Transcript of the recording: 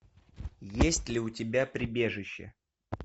есть ли у тебя прибежище